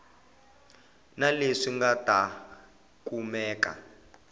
na leswi nga ta kumeka